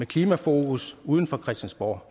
klimafokus uden for christiansborg